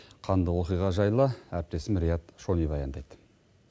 қанды оқиға жайлы әріптесім риат шони баяндайды